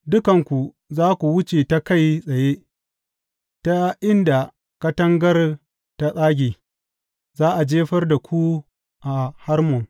Dukanku za ku wuce ta kai tsaye ta inda katangar ta tsage, za a jefar da ku a Harmon,